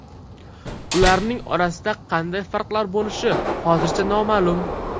Ularning orasida qanday farqlar bo‘lishi hozircha noma’lum.